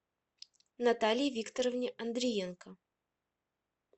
наталье викторовне андриенко